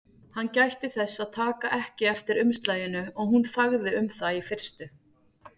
Hann gætti þess að taka ekki eftir umslaginu og hún þagði um það í fyrstu.